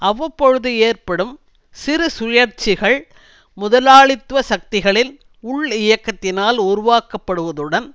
அவ்வப்பொழுது ஏற்படும் சிறு சுழற்சிகள் முதலாளித்துவ சக்திகளின் உள் இயக்கத்தினால் உருவாக்கப்படுவதுடன்